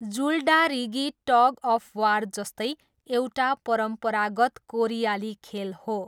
जुलडारिगी tug of war जस्तै एउटा परम्परागत कोरियाली खेल हो।